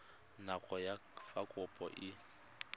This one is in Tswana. nako ya fa kopo e